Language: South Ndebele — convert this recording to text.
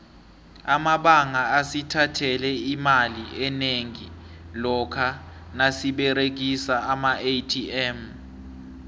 amabanga asithathele imali enengi lokha nasiberegisa amaatm